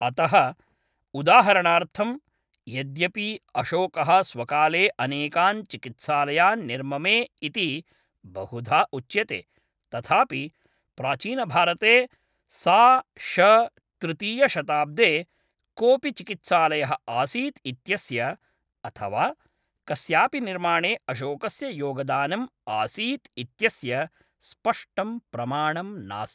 अतः, उदाहरणार्थं, यद्यपि अशोकः स्वकाले अनेकान् चिकित्सालयान् निर्ममे इति बहुधा उच्यते, तथापि प्राचीनभारते सा.श.तृतीयशताब्दे कोपि चिकित्सालयः आसीत् इत्यस्य, अथवा कस्यापि निर्माणे अशोकस्य योगदानम् आसीत् इत्यस्य स्पष्टं प्रमाणं नास्ति।